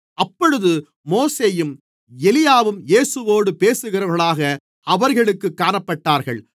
அப்பொழுது மோசேயும் எலியாவும் இயேசுவோடு பேசுகிறவர்களாக அவர்களுக்குக் காணப்பட்டார்கள்